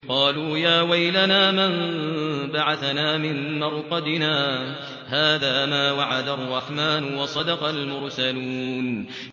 قَالُوا يَا وَيْلَنَا مَن بَعَثَنَا مِن مَّرْقَدِنَا ۜۗ هَٰذَا مَا وَعَدَ الرَّحْمَٰنُ وَصَدَقَ الْمُرْسَلُونَ